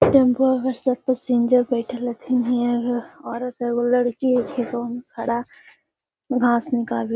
इ टेंपुआ पर सब पैसिंजर बैठएल हथीन हीया घ औरत हेय एगो लड़की हेय खड़ा घास निकाबी --